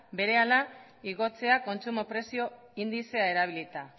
berehala igotzea kontsumo prezio indizea erabilita